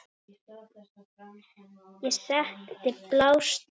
Ég setti blástur á fötin.